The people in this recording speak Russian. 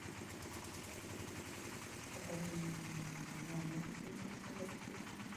покажи мне номер где я могу заказать напитки